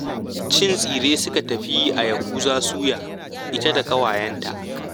Cin tsire suka tafi yi a Yahuza suya ita da ƙawayenta